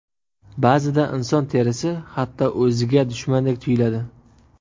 Ba’zida inson terisi hatto o‘ziga dushmandek tuyuladi.